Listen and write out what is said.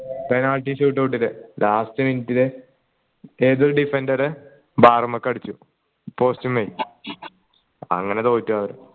penalty shoot out ൽ last minute ൽ ഏതോ defender bar മ്മക്ക അടിച്ചു post മ്മൽ അങ്ങനെ തോറ്റു അവരെ